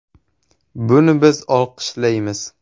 Buni biz olqishlaymiz.